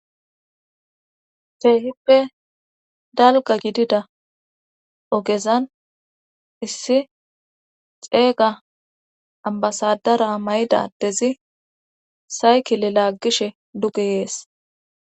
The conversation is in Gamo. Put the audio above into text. keehippe dalga gidida ogezan issi xeeyga ambasadara mayidadezi saykile laaggishe dugeyees